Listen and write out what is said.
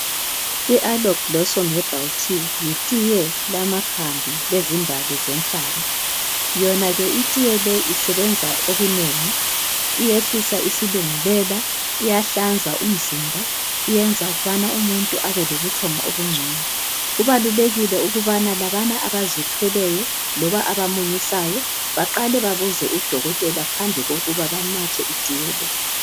I aloe blossom herbal tea yitiye lamakhambi lezimbali zenhlaba , yona ke litiye isebenza okunengi , itehlisa isilungulela , iyahlanza umzimba, iyenza ukubana umuntu abe lobuthongo obungcono , kubalulekile ukubana labana abazithweleyo loba abamunyisayo baqale babuze udokotela phambi kokuba banathe itiye le